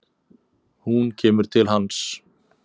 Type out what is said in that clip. Hún kemur til hans.